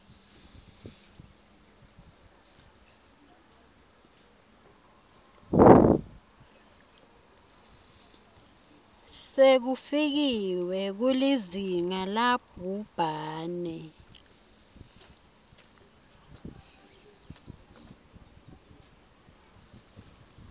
sekufikiwe kulizinga labhubhane